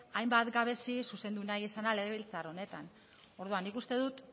hainbat gabezi zuzendu nahi izana legebiltzar honetan orduan nik uste dut